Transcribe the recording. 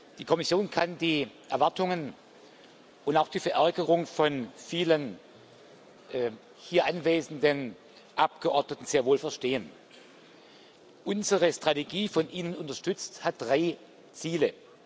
Die Kommission kann die Erwartungen und auch die Verärgerung von vielen hier anwesenden Abgeordneten sehr wohl verstehen. Unsere Strategie von Ihnen unterstützt hat drei Ziele.